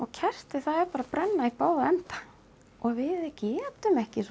kertið er bara að brenna í báða enda og við getum ekki